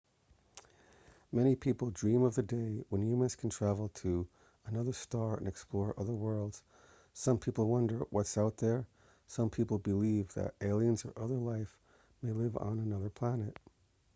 many people dream of the day when humans can travel to another star and explore other worlds some people wonder what's out there some belive that aliens or other life may live on another plant